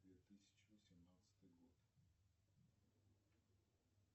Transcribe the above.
две тысячи восемнадцатый год